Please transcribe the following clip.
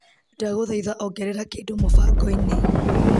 Ndagũthaitha ongerera kĩndũ mũbango-inĩ .